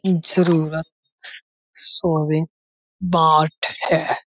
बाँट है।